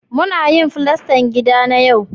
Muna yin fulastar gida na yau